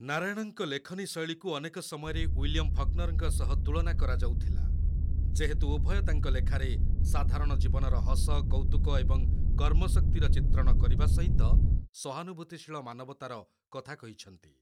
ନାରାୟଣଙ୍କ ଲେଖନୀ ଶୈଳୀକୁ ଅନେକ ସମୟରେ ୱିଲିୟମ୍ ଫକ୍‍ନର୍‌ଙ୍କ ସହ ତୁଳନା କରାଯାଉଥିଲା, ଯେହେତୁ ଉଭୟ ତାଙ୍କ ଲେଖାରେ ସାଧାରଣ ଜୀବନର ହସ, କୌତୁକ ଏବଂ କର୍ମଶକ୍ତିର ଚିତ୍ରଣ କରିବା ସହିତ ସହାନୁଭୂତିଶୀଳ ମାନବତାର କଥା କହିଛନ୍ତି।